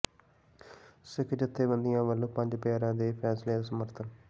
ਸਿੱਖ ਜਥੇਬੰਦੀਆਂ ਵੱਲੋਂ ਪੰਜ ਪਿਆਰਿਆਂ ਦੇ ਫ਼ੈਸਲੇ ਦਾ ਸਮਰਥਨ